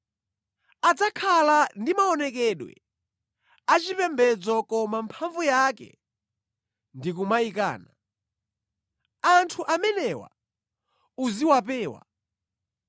Adzakhala ndi maonekedwe achipembedzo koma mphamvu yake ndi kumayikana. Anthu amenewa uziwapewa.